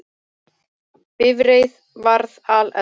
Bifreið varð alelda